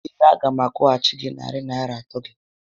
Ee. a gá m akwụghachi gị narị Naịra atọ gị